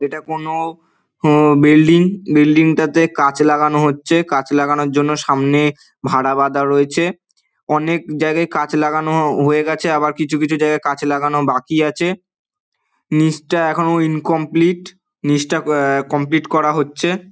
এটা কোনো হম বিল্ডিং বিল্ডিং -টাতে কাচ লাগানো হচ্ছে ।কাচ লাগানোর জন্য সামনে ভাড়া বাঁধা রয়েছে। অনেক জায়গায় কাচ লাগানো হয়ে গেছে। আবার কিছু কিছু জায়গায় কাচ লাগানো বাকি আছে। নীচটা এখনো ইনকমপ্লিট নীচটা কমপ্লিট করা হচ্ছে |